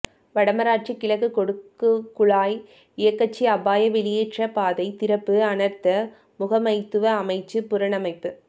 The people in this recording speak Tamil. வடமராட்சி கிழக்கு கொடுக்குளாய் இயக்கச்சி அபாய வெளியேற்றப் பாதை திறப்பு அனர்த்த முகாமைத்துவ அமைச்சு புனரமைப்பு